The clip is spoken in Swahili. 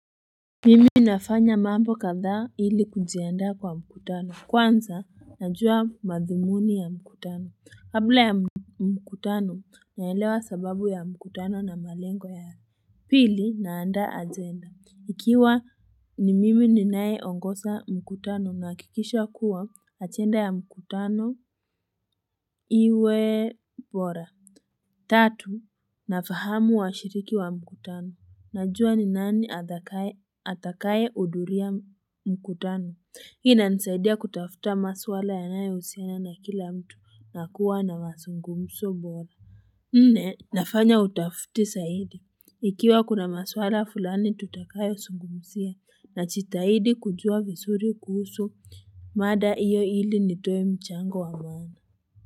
Mimi nafanya mambo kadhaa ili kujiandaa kwa mkutano kwanza najua madhumuni ya mkutano kabla ya mkutano naelewa sababu ya mkutano na malengo ya hali Pili naanda ajenda ikiwa ni mimi ninae ongosa mkutano nakikishwa kuwa achenda ya mkutano iwe bora Tatu, nafahamu wa shiriki wa mkutano. Najua ni nani atakaye udhuria mkutano. Hina nisaidia kutafuta maswala ya nae usiana na kila mtu na kuwa na masungumso mbola. Nne, nafanya utafuti saidi. Ikiwa kuna maswala fulani tutakayo sungumusia na chitahidi kujua visuri kuhusu mada iyo ili nitoye mchango wa mwana.